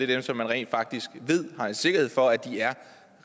dem som man rent faktisk ved og har sikkerhed for er